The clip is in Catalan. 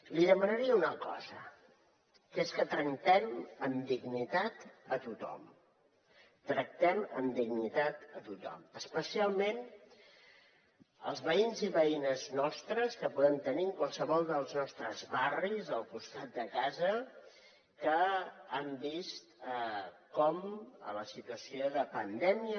li demanaria una cosa que és que tractem amb dignitat a tothom tractem amb dignitat a tothom especialment els veïns i veïnes nostres que podem tenir en qualsevol dels nostres barris al costat de casa que han vist com en la situació de pandèmia